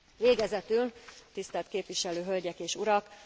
Végezetül tisztelt képviselő hölgyek és urak!